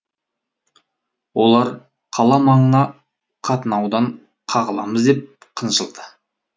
олар қала маңына қатынаудан қағыламыз деп қынжылды